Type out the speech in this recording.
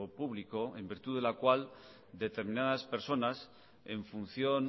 público en virtud de la cual determinadas personas en función